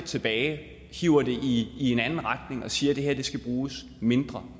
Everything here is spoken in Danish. tilbage hiver det i en anden retning og siger at det her skal bruges mindre